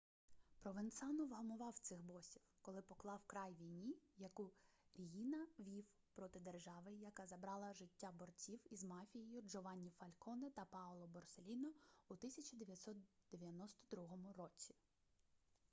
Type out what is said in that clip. провенцано вгамував цих босів коли поклав край війні яку ріїна вів проти держави і яка забрала життя борців із мафією джованні фальконе та паоло борселліно у 1992 році